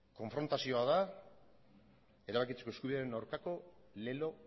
konfrontazioa da erabakitzeko eskubidearen aurkako lelo